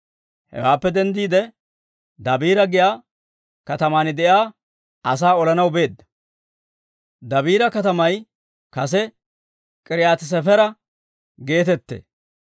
Hewaappe denddiide, Dabiira giyaa kataman de'iyaa asaa olanaw beedda; Dabiira katamay kase K'iriyaati-Sefera geetettee.